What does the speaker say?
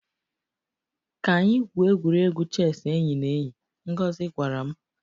Ka anyị gwuo egwuregwu chess enyi na enyi, Ngozi gwara m